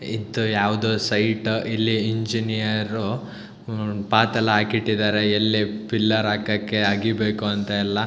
ಇತ್ತು ಯಾವ್ದೊ ಸೈಟು ಇಲ್ಲಿ ಇಂಜಿನಿಯರ್ರು ಉಹ್ ಪಾತೆಲ್ಲ ಆಕಿಟ್ಟಿದ್ದಾರೆ ಎಲ್ಲಿ ಪಿಲ್ಲರ್ ಹಾಕಕ್ಕೆ ಅಗಿಬೇಕು ಅಂತೆಲ್ಲಾ.